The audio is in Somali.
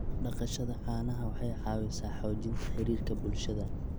Dhaqashada caanaha waxay caawisaa xoojinta xiriirka bulshada.